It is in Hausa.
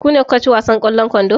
Ku ne kuka ci wasan ƙwallon kwando?